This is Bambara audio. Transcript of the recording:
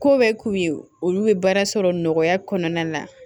Ko bɛ k'u ye olu bɛ baara sɔrɔ nɔgɔya kɔnɔna na